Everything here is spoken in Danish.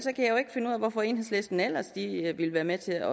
hvorfor enhedslisten ellers vil være med til